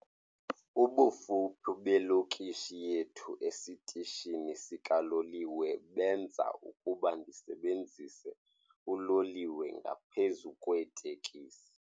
Ubufuphi belokishi yethu esitishini sikaloliwe benza ukuba ndisebenzise uloliwe ngaphezu kweeteksi.